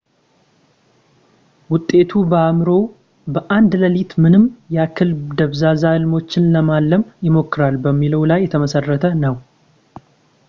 ውጤቱ በአእምሮዎ በአንድ ሌሊት ምን ያክል ደብዛዛ ህልሞችን ለማለም ይሞክራል በሚለው ላይ የተመሠረተ ነው